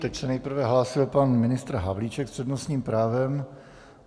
Teď se nejprve hlásil pan ministr Havlíček s přednostním právem.